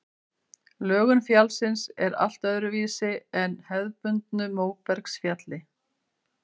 Lögun fjallsins er allt öðruvísi en á hefðbundnu móbergsfjalli.